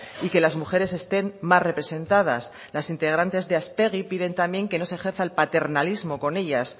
y que las mujeres estén más representadas las integrantes de aspegi piden también que no se ejerza el paternalismo con ellas